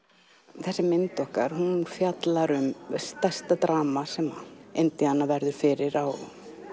þessi mynd okkar fjallar um stærsta drama sem Indíana verður fyrir á